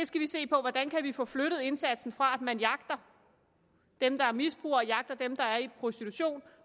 skal se på hvordan vi kan få flyttet indsatsen fra at man jagter dem der er misbrugere og jagter dem der er i prostitution